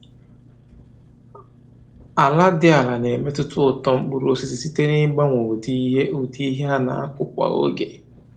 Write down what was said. Ala dị ala na-emetụta uto mkpụrụ osisi site n’ịgbanwe ụdị ihe ụdị ihe a na-akụ kwa oge